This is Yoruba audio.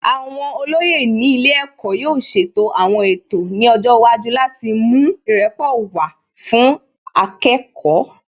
Àwọn olóyè ní ilé ẹ̀kọ́ yóò ṣètò àwọn ètò ní ọjọ́ iwájú láti mú ìrẹ́pọ̀ wá fún akẹ́kọ̀ọ́